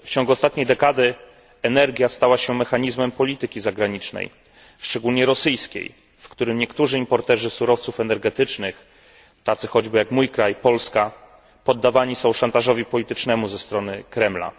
W ciągu ostatniej dekady energia stała się mechanizmem polityki zagranicznej szczególnie rosyjskiej w którym niektórzy importerzy surowców energetycznych tacy choćby jak mój kraj, Polska poddawani są szantażowi politycznemu ze strony Kremla.